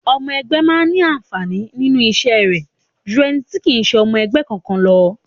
Ọmọ ẹgbé máa ní àǹfàní nínú iṣẹ́ rẹ̀ jú ẹni tí kì í ṣe ọmọ ẹgbẹ́ kankan lọ.